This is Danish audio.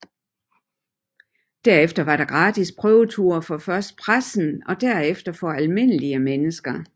Derefter var der gratis prøveture for først pressen og derefter for almindelige mennesker